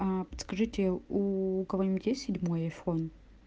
аа подскажите у кого-нибудь есть седьмой айфон